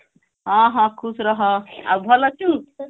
ହଁ ହଁ ଖୁଶ ରହ ଆଉ ଭଲ ଅଛୁ